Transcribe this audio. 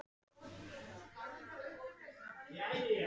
Tvær konur, miðaldra, rosknar jafnvel, það skelfilega orð.